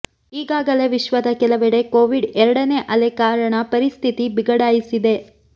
ಈಗಾಗಲೇ ವಿಶ್ವದ ಕೆಲವೆಡೆ ಕೋವಿಡ್ ಎರಡನೇ ಅಲೆ ಕಾರಣ ಪರಿಸ್ಥಿತಿ ಬಿಗಡಾಯಿಸಿದೆ